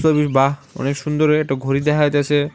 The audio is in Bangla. বাঃ অনেক সুন্দরভাবে একটা ঘড়ি দেখা যাইছে।